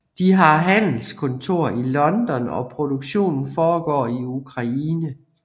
De har handelskontor i London og produktionen foregår i Ukraine